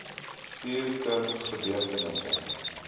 stuur kuns gebeurtenisse